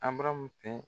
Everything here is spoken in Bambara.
Abaramu fɛn